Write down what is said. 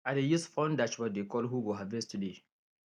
i dey use phone dashboard dey call who go harvest today